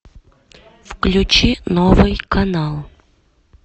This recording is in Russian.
включи новый канал